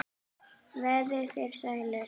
Verið þér sælir.